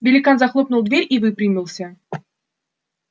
великан захлопнул дверь и выпрямился